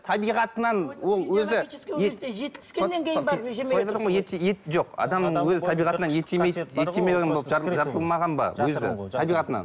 табиғатынан ол өзі жоқ адамның өзі табиғатынан ет жемейді